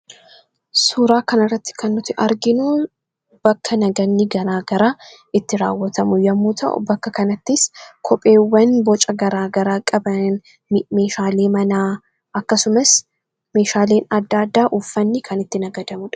Suuraa kanarratti kan nuti arginuu bakka naganni garaa garaa itti raawwatamu yommuu ta'u bakka kanattis kopheewwan boca garaa garaa qaban meeshaalee manaa akkasumas meeshaaleen adda addaa uuffanni kan itti nagadamudha.